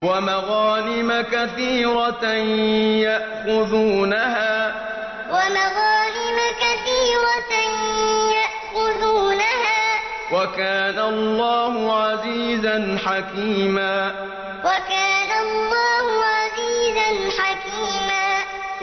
وَمَغَانِمَ كَثِيرَةً يَأْخُذُونَهَا ۗ وَكَانَ اللَّهُ عَزِيزًا حَكِيمًا وَمَغَانِمَ كَثِيرَةً يَأْخُذُونَهَا ۗ وَكَانَ اللَّهُ عَزِيزًا حَكِيمًا